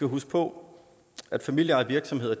huske på at familieejede virksomheder